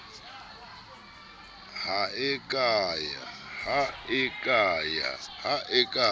ha e a ka ya